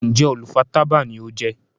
Njé olú fà tábà ní o jé?